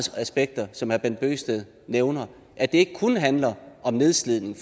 aspekter som herre bent bøgsted nævner at det ikke kun handler om nedslidning